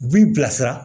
U b'i bilasira